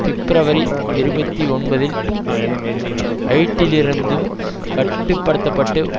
பிப்ரவரி இருபத்தி ஒன்பதில் ஹைட்டியிலிருந்தும் கட்டு படுத்தப்பட்டு